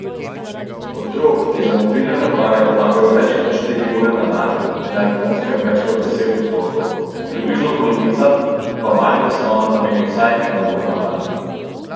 Otrok, ki za mobilne naprave porabijo več kot štiri ure na dan, je na Japonskem več kot deset odstotkov, približno polovica pa malim zaslonom nameni vsaj uro na dan.